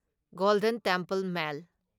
golden Temple mail